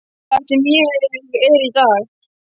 Það sem ég er í dag.